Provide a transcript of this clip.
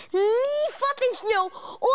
nýfallinn snjó og